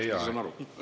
Teie aeg!